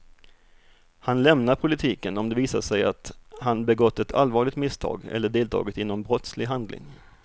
Han lämnar politiken om det visar sig att han begått ett allvarligt misstag eller deltagit i någon brottslig handling.